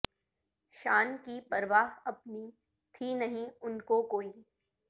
شان کی پرواہ اپنی تھی نہیں ان کو کوئ